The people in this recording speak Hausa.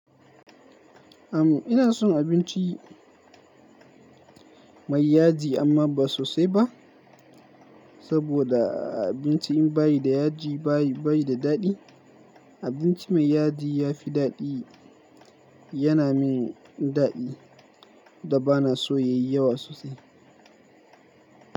Am ina son abinci mai yaji amma ba sosai ba, saboda a abinci in bayi da yaji bayi, bayi da daɗi. Abinci mai yaji ya fi daɗi, yana min daɗi da ba na so ya yi yawa sosai.